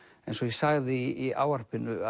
eins og ég sagði í ávarpinu